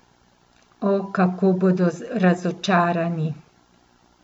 O, kako bodo razočarani!